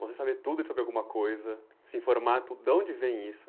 Você saber tudo sobre alguma coisa, se informar tudo, de onde vem isso?